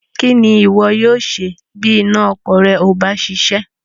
Kí ni ìwọ yóò ṣe bí iná ọkọ̀ rẹ ò bá ṣiṣẹ́?